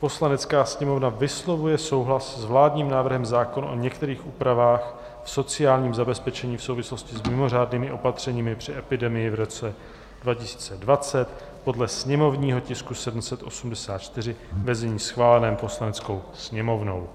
"Poslanecká sněmovna vyslovuje souhlas s vládním návrhem zákona o některých úpravách v sociálním zabezpečení v souvislosti s mimořádnými opatřeními při epidemii v roce 2020, podle sněmovního tisku 784, ve znění schváleném Poslaneckou sněmovnou.